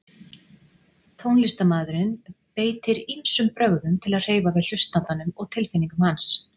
Tónlistarmaðurinn beitir ýmsum brögðum til að hreyfa við hlustandanum og tilfinningum hans.